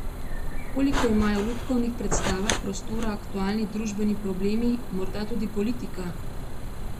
Koliko imajo v lutkovnih predstavah prostora aktualni družbeni problemi, morda tudi politika?